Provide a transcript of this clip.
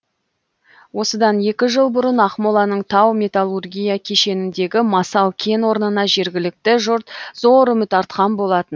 осыдан екі жыл бұрын ақмоланың тау металлургия кешеніндегі масал кен орнына жергілікті жұрт зор үміт артқан болатын